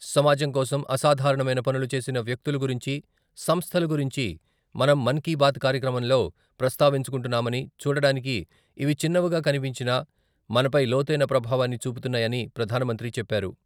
సమాజం కోసం అసాధారణమైన పనులు చేసిన వ్యక్తులు గురించి, సంస్థల గురించి మనం మన్కీబాత్ కార్యక్రమంలో ప్రస్తావించుకుంటున్నామని చూడడాటానికి ఇవి చిన్నవిగా కనిపించినా మనపై లోతైన ప్రభావాన్ని చూపుతున్నాయని ప్రధానమంత్రి చెప్పారు.